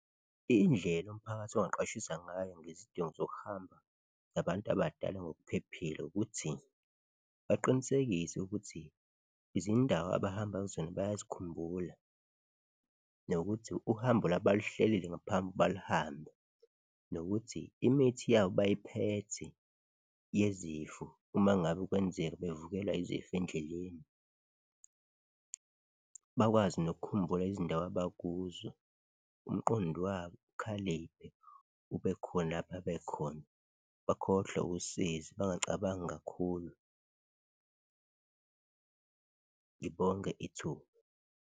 Indlela umphakathi ongaqwashisa ngayo ngezidingo zokuhamba zabantu abadala ngokuphephile ukuthi baqinisekise ukuthi izindawo abahamba kuzona bayazikhumbula nokuthi uhambo labo baluhlelile ngaphambi balihambe nokuthi imithi yabo bayiphethe yezifo uma ngabe kwenzeka bevukelwa izifo endleleni, bakwazi nokukhumbula izindawo abakuzo, umqondo wabo ukhaliphe ubekhona babekhona, bakhohlwe usizi, bangacabangi kakhulu. Ngibonge ithuba.